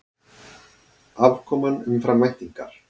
Afkoman umfram væntingar